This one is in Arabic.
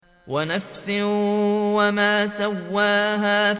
وَنَفْسٍ وَمَا سَوَّاهَا